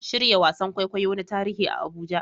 Shirya wasan kwaikwayo na tarihi a Abuja